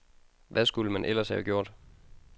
Hvad skulle man ellers have gjort?